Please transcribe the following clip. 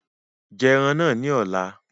Jẹ ẹran náà ní ọ̀la